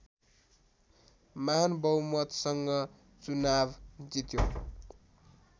महान बहुमतसँग चुनाव जित्यो